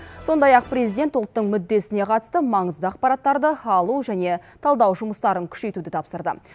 сондай ақ президент ұлттың мүддесіне қатысты маңызды ақпараттарды алу және талдау жұмыстарын күшейтуді тапсырды